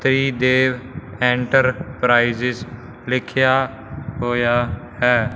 Tridev enterprise ਲਿਖਿਆ ਹੋਇਆ ਹੈ।